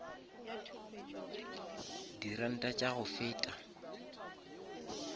di ranta tša go feta